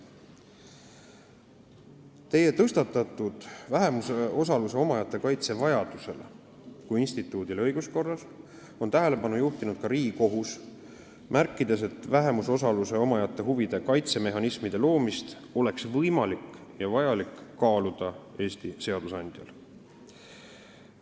Teie tõstatatud teemale, vähemusosaluse omajate kaitse vajadusele kui õiguskorra instituudile, on tähelepanu juhtinud ka Riigikohus, märkides, et Eesti seadusandjal oleks võimalik ja vajalik kaaluda vähemusosaluse omajate huvide kaitsemehhanismide loomist.